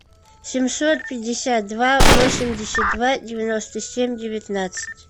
семьсот пятьдесят два восемьдесят два девяносто семь девятнадцать